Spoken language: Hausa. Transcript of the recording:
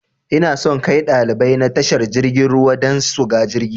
Inason kai ɗalibai na tashar jirgin ruwa dan suga jirgi